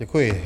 Děkuji.